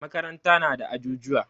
Makaranta na da ajujuwa.